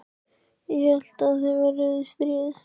Ég hélt þið væruð í stríði?